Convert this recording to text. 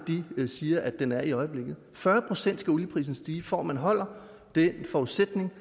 siger den er i øjeblikket fyrre procent skal olieprisen stige for at man holder den forudsætning